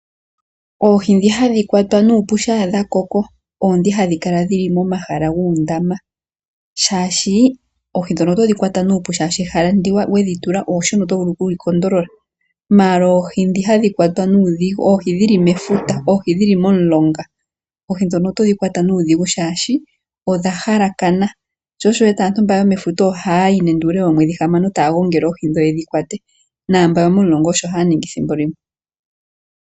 Oohi ndhi hadhi kwatwa nuupu shampa dhakoko oondhi hadhi kala muundama. Oohi ndhino otodhi kwata nuupu shaashi ehala ndi dhatulwa eshona oto vulu okudhi kondolola. Dhomefuta oshowo momulonga oodhigu molwaashono ehala olya mbwalangandja sho osho wu wete aantu yonefuta ha yayi nande oomwedhi hamano taya gongele oohi ndhi noyo momulonga osho haya ningi thimbo limwe.